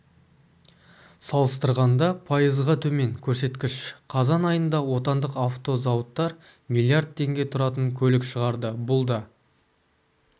салыстырғанда пайызға төмен көрсеткіш қазан айында отандық автозауыттар миллиард теңге тұратын көлік шығарды бұл да